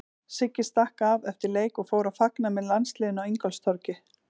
Siggi stakk af eftir leik og fór að fagna með landsliðinu á Ingólfstorgi.